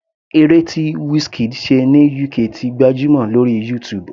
Eré tí Wizkid ṣe ní UK ti gbajúmọ̀ lórí YouTube.